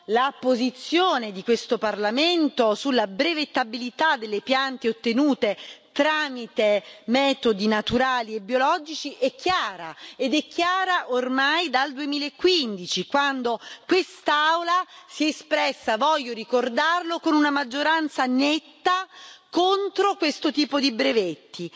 la posizione di questo Parlamento sulla brevettabilità delle piante ottenute tramite metodi naturali e biologici è chiara, ed è chiara ormai dal 2015, quando quest'Aula si è espressa voglio ricordarlo con una maggioranza netta contro questo tipo di brevetti.